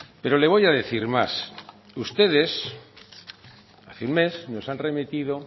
pero le voy a decir más ustedes hace un mes nos han remitido